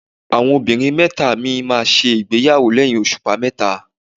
Àwọn ọmọbìnrin mẹ́ta mi máa ṣègbéyàwó lẹ́yìn òṣùpá mẹ́ta.